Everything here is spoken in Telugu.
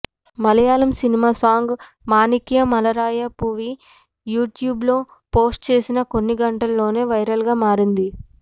మలయాళం సినిమా సాంగ్ మానిక్యా మలారాయ పూవి యూట్యూబ్లో పోస్ట్ చేసిన కొన్ని గంటల్లోనే వైరల్ గా మారింది